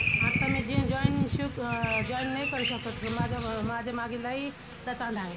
आता मी gym join अह join नाही करू शकत गं, माझं अं माझ्या मागे लय लचांड आहे.